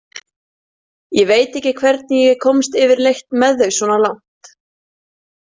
Ég veit ekki hvernig ég komst yfirleitt með þau svona langt.